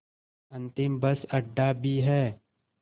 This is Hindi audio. अंतिम बस अड्डा भी है